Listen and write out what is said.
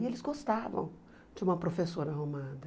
E eles gostavam de uma professora arrumada.